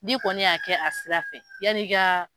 Ni kɔni y'a kɛ a sira fɛ yanni i ka.